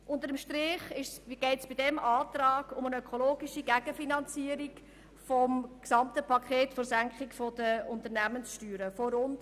Unter dem Strich geht es in unserem Antrag um eine ökologische Gegenfinanzierung von rund 100 Mio. Franken für das gesamte Paket der Unternehmenssteuersenkung.